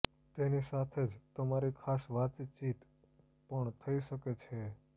તેની સાથે જ તમારી ખાસ વાતચીત પણ થઈ શકે છે